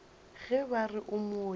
ge ba re o mooki